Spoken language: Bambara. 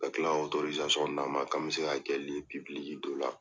Ka kila ka d'an ma, k'an bi se ka kɛ dɔ la.